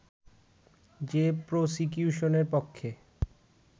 যে প্রসিকিউশনের পক্ষে